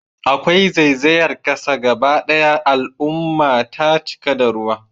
Akwai zaizayar kasa gaba daya al'umma ta cika da ruwa